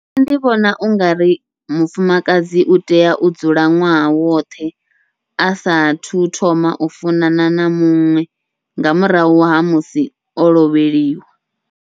Nṋe ndi vhona ungari mufumakadzi utea u dzula ṅwaha woṱhe, asathu thoma u funana na muṅwe nga murahu ha musi o lovheliwa.